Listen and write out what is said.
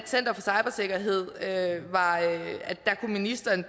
center for cybersikkerhed hvor ministeren